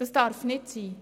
Dies darf nicht sein.